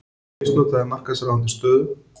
Misnotaði markaðsráðandi stöðu